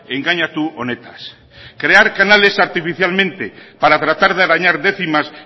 engainatu honetaz isiltasuna mesedez crear canales artificialmente para tratar de arañar décimas